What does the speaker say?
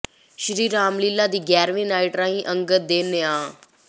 ਸ੍ਰੀ ਰਾਮ ਲੀਲ੍ਹਾ ਦੀ ਗਿਆਰ੍ਹਵੀਂ ਨਾਈਟ ਰਹੀ ਅੰਗਦ ਦੇ ਨਾਂਅ